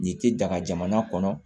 Nin tɛ daga jamana kɔnɔ